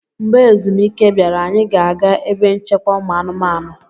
Mgbe ezumike bịara, anyị ga-aga ebe nchekwa ụmụanụmanụ.